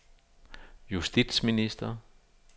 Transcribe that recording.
justitsminister